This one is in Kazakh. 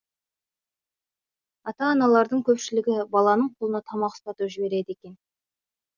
ата аналардың көпшілігі баланың қолына тамақ ұстатып жібереді екен